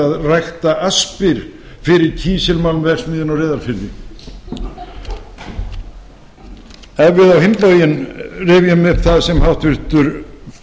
að rækta aspir fyrir kísilmálmverksmiðjuna á reyðarfirði ef við á hinn bóginn rifjum upp það sem háttvirtur